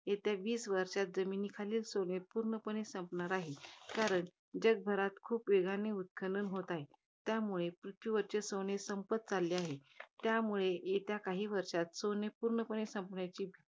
येत्या वीस वर्षांमध्ये, जमिनीखालील सोने पूर्णपणे संपणार आहे. कारण, जगभरात खूप वेगाने उत्खनन होत आहे. त्यामुळे पृथ्वीवरचे सोने संपत चालले आहे. त्यामुळे येत्या काही वर्षात सोने पूर्णपणे, संपण्याची